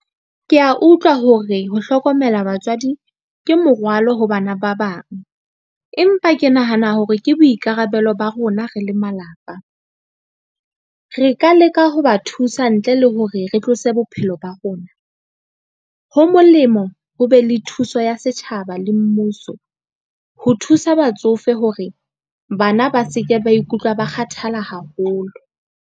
Ke a utlwa hore ho hlokomela batswadi ke morwalo ho bana ba bang, empa ke nahana hore ke boikarabelo ba rona re le malapa. Re ka leka ho ba thusa ntle le ke hore re tlose bophelo ba rona, ho molemo ho be le thuso ya setjhaba le mmuso, ho thusa batsofe hore bana ba se ke ba ikutlwa ba kgathala haholo.